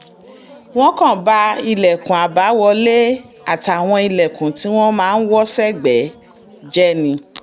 wọ́n kàn ba ilẹ̀kùn àbáwọlé àtàwọn ilẹ̀kùn tí wọ́n máa ń wọ̀ sẹ́gbẹ̀ẹ́ jẹ́ ni